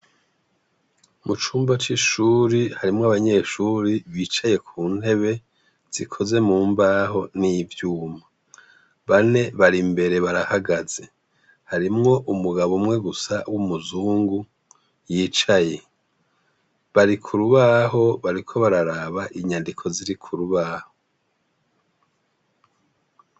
Mu cumba c’ishure harimwo abanyeshure bicaye ku ntebe zikoze mu mbaho n’ivyuma. Bane bari imbere barahagaze, harimwo umugabo umwe gusa w’umuzungu yicaye, bari ku rubaho bariko bararaba inyandiko ziri ku rubaho.